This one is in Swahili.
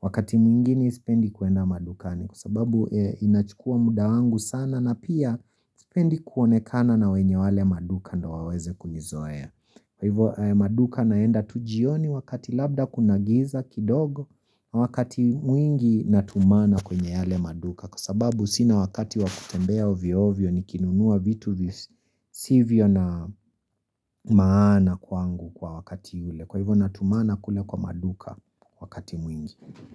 Wakati mwingine isipendi kuenda madukani Kwa sababu inachukua muda wangu sana na pia Sipendi kuonekana na wenye wale maduka ndo waweze kunizoea Kwa hivyo maduka naenda tujioni wakati labda kunagiza kidogo Wakati mwingi natumana kwenye yale maduka Kwa sababu sina wakati wakutembea ovyo ovyo nikinunua vitu sivyo na maana kwangu kwa wakati yule Kwa hivyo natumana kule kwa maduka wakati mwingi.